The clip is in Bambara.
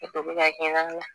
Ne to bɛ ka kɛ na